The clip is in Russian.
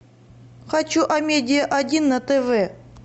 хочу амедиа один на тв